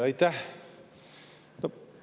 Aitäh!